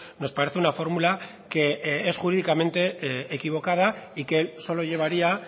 nos parece una fórmula que es jurídicamente equivocada y que solo llevaría